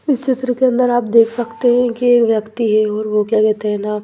इस चित्र के अंदर आप देख सकते है की एक व्यक्ति है और वो क्या कहते है ना--